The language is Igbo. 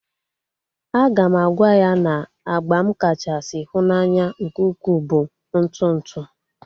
A ga m agwa ya na agba m kachasị hu n'anya nke ukwu bụ ntụ ntụ